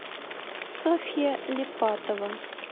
софья липатова